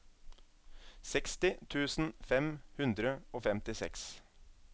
seksti tusen fem hundre og femtiseks